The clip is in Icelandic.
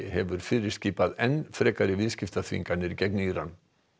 hefur fyrirskipað enn frekari viðskiptaþvinganir gegn Íran